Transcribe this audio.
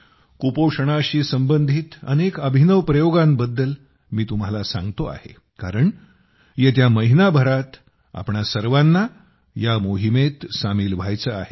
कुपोषणाशी संबंधित अनेक अभिनव प्रयोगांबद्दल मी तुम्हाला सांगतो आहे कारण येत्या महिनाभरात आपणा सर्वांना या मोहिमेत सामील व्हायचे आहे